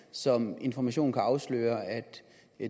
som information kan afsløre at